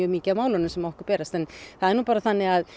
mikið af málunum sem okkur berast en það er nú bara þannig